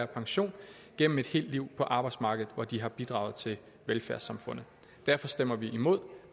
pension gennem et helt liv på arbejdsmarkedet hvor de har bidraget til velfærdssamfundet derfor stemmer vi imod